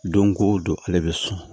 Don ko don ale bɛ sɔn